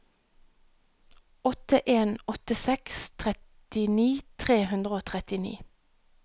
åtte en åtte seks trettini tre hundre og trettini